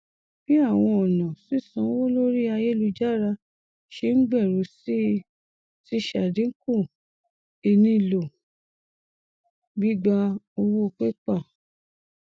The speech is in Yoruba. bí àwọn ọnà sísànwó lórí ayélujára ṣe n gbèrú sí i ti ṣàdínkù ìnílò gbígbà owó pépà